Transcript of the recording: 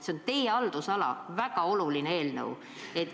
See on teie haldusala, see on väga oluline eelnõu.